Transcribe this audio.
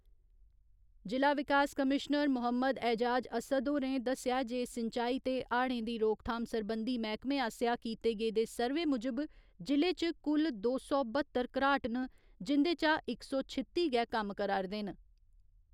जि'ला विकास कमीश्नर मोहम्मद ऐजाज अस्सद होरें दस्सेआ जे सिंचाई ते हाड़ें दी रोकथाम सरबंधी मैह्कमे आसेआ कीते गेदे सर्वे मुजब जि'ले च कुल दो सौ बह्त्तर घराट न जिंदे चा इक सौ छित्ती गै कम्म करा'रदे न।